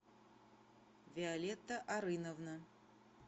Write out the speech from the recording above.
виолетта арыновна